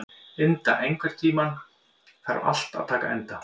Inda, einhvern tímann þarf allt að taka enda.